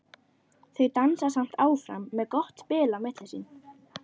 Þau dansa samt áfram með gott bil á milli sín.